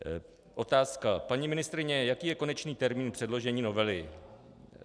Otázka: Paní ministryně, jaký je konečný termín předložení novely?